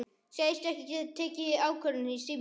Segist ekki geta tekið ákvörðun í síma.